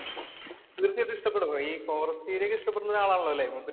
തീർച്ചയായിട്ടും ഇഷ്ടപ്പെടും. ഈ ഫോറസ്റ്റ് ഏരിയ ഒക്കെ ഇഷ്ടപ്പെടുന്ന ആളാണല്ലോ അല്ലേ മൂപ്പര്.